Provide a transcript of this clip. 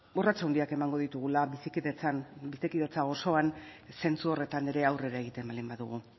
urrats handiak emango ditugula bizikidetza osoan zentzu horretan ere aurrera egiten baldin badugu